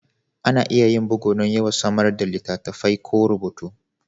Ana iya yin bugu don yawan samar da littattafai ko rubutu